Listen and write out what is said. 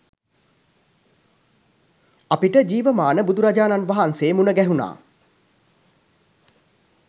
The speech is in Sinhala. අපිට ජීවමාන බුදුරජාණන් වහන්සේ මුණ ගැහුනා.